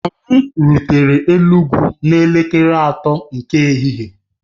Anyị rutere Enugwu n'elekere atọ nke ehihie